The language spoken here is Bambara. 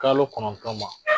Kalo kɔnɔntɔn ma.